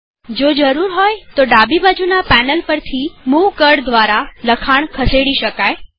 જો જરૂર હોય તોડાબી બાજુના પેનલ પરથી મુવ કળ દ્વારા લખાણ ખસેડી શકું છું